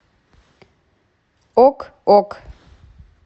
ок ок